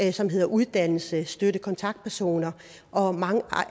i som hedder uddannelse støtte og kontaktpersoner og mange